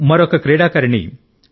మరొక క్రీడాకారిణి సి